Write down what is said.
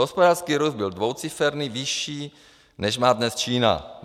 Hospodářský růst byl dvouciferný, vyšší, než má dnes Čína.